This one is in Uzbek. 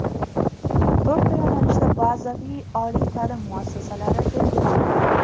To‘rtta yo‘nalishda bazaviy oliy ta’lim muassasalari belgilandi.